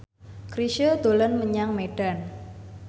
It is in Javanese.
Chrisye dolan menyang Medan